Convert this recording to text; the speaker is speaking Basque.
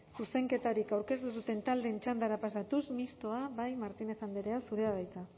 zuzenketarik aurkeztu ez duten taldeen txandara pasatuz mistoa martínez andrea zurea da hitza